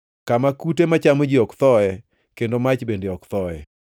kama “ ‘kute machamo ji ok thoe, kendo mach bende ok thoe.’ + 9:48 \+xt Isa 66:24\+xt*